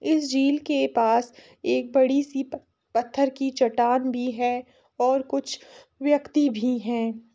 इस झील के पास एक बड़ी सी प पत्थर की चट्टान भी है और कुछ व्यक्ति भी हैं।